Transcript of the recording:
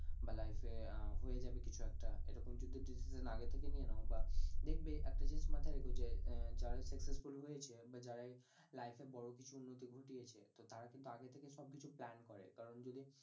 বা life এ আহ হয়ে যাবে কিছু একটা এরকম যদি decision আগে থেকে নিয়ে নাও বা দেখবে একটা জিনিস মাথায় রেখো যে আহ যারাই successful হয়েছে, বা যারা এই life এ বড়ো কিছু উন্নতি ঘটিয়েছে তো তারা কিন্তু আগে থেকেই সবকিছু plan করে কারণ যদি